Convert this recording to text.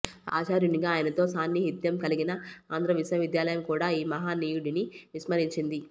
ఆచార్యునిగా ఆయనతో సాన్ని హిత్యం కలిగిన ఆంధ్రవిశ్వవిద్యాలయం కూడా ఈ మహనీయుడిని విస్మరించింది